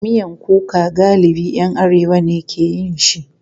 Miyan kuka galibi ‘yan arewa ne ke yin shi.